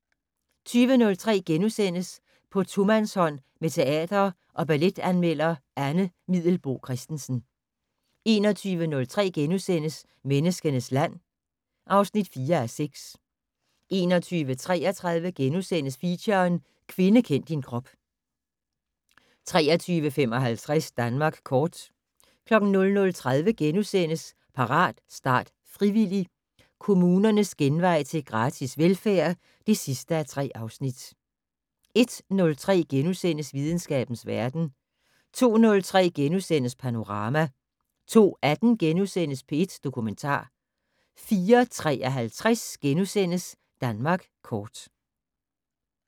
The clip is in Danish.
20:03: På tomandshånd med teater- og balletanmelder Anne Middelboe Christensen * 21:03: Menneskenes land (4:6)* 21:33: Feature: Kvinde kend din krop * 23:55: Danmark kort 00:30: Parat, start, frivillig! - Kommunernes genvej til gratis velfærd (3:3)* 01:03: Videnskabens verden * 02:03: Panorama * 02:18: P1 Dokumentar * 04:53: Danmark kort *